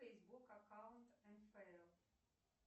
фейсбук аккаунт нфл